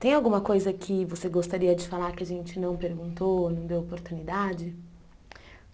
Tem alguma coisa que você gostaria de falar que a gente não perguntou, não deu oportunidade?